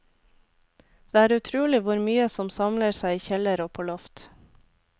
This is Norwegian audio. Det er utrolig hvor mye som samler seg i kjeller og på loft.